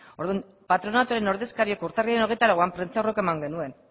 orduan patronaturen ordezkariak urtarrilaren hogeita lauan prentsaurreko eman genuen